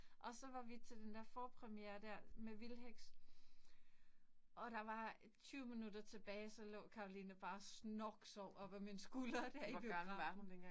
Og så var vi til den der forpremiere der med Vildheks. Og der var 20 minutter tilbage, så lå Caroline bare og snorksov op ad min skulder der i biografen